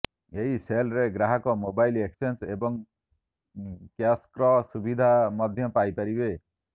ଏହି ସେଲ୍ରେ ଗ୍ରାହକ ମୋବାଇଲ ଏକ୍ସଚେଞ୍ଜ ଏବଂ କ୍ୟାସ୍ବ୍ୟାକ୍ର ସୁବିଧା ମଧ୍ୟ ପାଇପାରିବେ